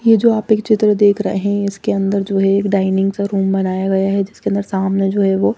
ये जो आप एक चित्र देख रहे हैं इसके अंदर जो है एक डाइनिंग सा रूम बनाया गया हैं जिसके अंदर सामने जो हे वो --